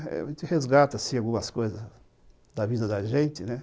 A gente resgata, assim, algumas coisas da vida da gente, né?